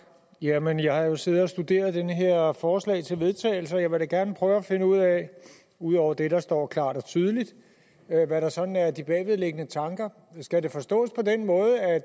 jamen jeg har jo siddet og studeret det her forslag til vedtagelse og jeg vil da gerne prøve at finde ud af ud over det der står klart og tydeligt hvad der sådan er de bagvedliggende tanker skal det forstås på den måde at